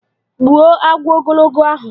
Gbuo agwọ ogologo ahụ!